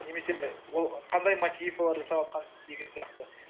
немесе ол қандай деген сияқты